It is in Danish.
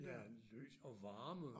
Ja lys og varme